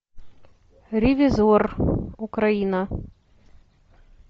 ревизор украина